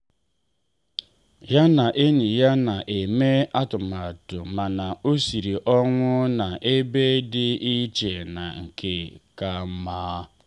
ya na enyi ya na eme atụmatụ mana ọ siri ọnwụ na ebe dị iche na nke ka mma.